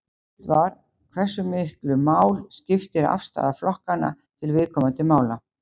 Spurt var Hversu miklu mál skiptir afstaða flokkanna til viðkomandi mála?